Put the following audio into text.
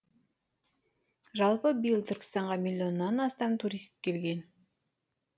жалпы биыл түркістанға миллионнан астам турист келген